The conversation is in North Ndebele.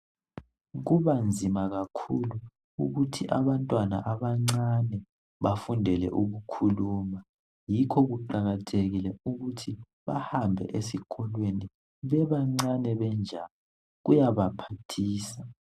Kubanzima kakhulu ukuthi abantwana abancane bafundele ukukhuluma , yikho kuqakathekile ukuthi bahambe esikolweni bebancane benjalo , kuyabaphathisa